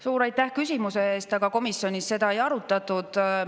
Suur aitäh küsimuse eest, aga komisjonis seda ei arutatud.